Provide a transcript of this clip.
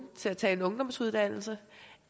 til at tage en ungdomsuddannelse